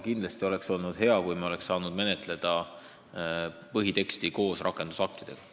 Kindlasti oleks olnud hea, kui me oleks saanud põhiteksti menetleda koos rakendusaktidega.